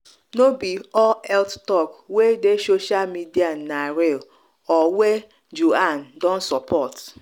no be all health talk wey dey social media na real or wey juan don support.